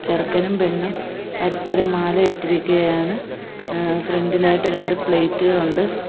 ചെറുക്കനും പെണ്ണും പരസ്പരം മാല ഇട്ടിരിക്കുകയാണ് അ ഫ്രണ്ട്‌ ഇലായിട്ട് രണ്ട് പ്ലേറ്റ് കൾ ഒണ്ട്.